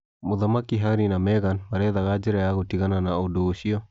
Mũthamaki Harry na Meghan marethaga njĩra yagũtigana na ũndũ ũcio.